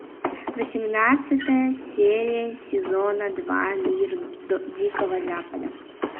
восемнадцатая серия сезона два мир дикого запада